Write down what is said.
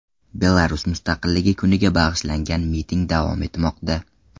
Belarus mustaqilligi kuniga bag‘ishlangan miting davom etmoqda.